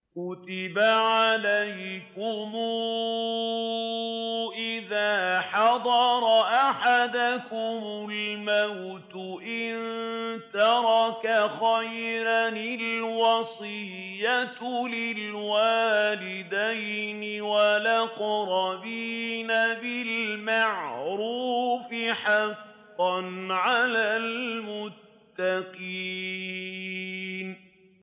كُتِبَ عَلَيْكُمْ إِذَا حَضَرَ أَحَدَكُمُ الْمَوْتُ إِن تَرَكَ خَيْرًا الْوَصِيَّةُ لِلْوَالِدَيْنِ وَالْأَقْرَبِينَ بِالْمَعْرُوفِ ۖ حَقًّا عَلَى الْمُتَّقِينَ